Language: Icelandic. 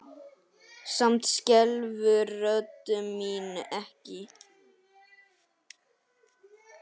Samt skelfur rödd mín ekki.